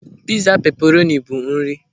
Pịza peperoni bụ nri....